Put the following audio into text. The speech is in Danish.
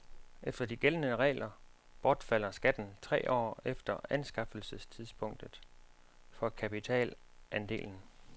Efter de gældende regler bortfalder skatten tre år efter anskaffelsestidspunktet for kapitalandelen.